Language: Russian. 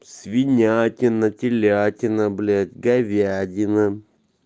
свинятина телятина блять говядина